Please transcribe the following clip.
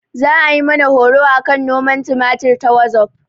Za ayi mana horo akan noman tumatir ta wazof